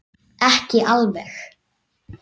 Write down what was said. Ekki alveg.